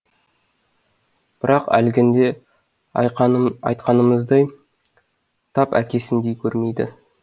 бірақ әлгінде айтқанымыздай тап әкесіндей көрмейді